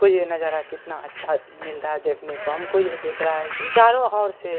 को ये नजारा कितना अच्छा मिल रहा है देखने को हमको यह दिख रहा है की चारों और से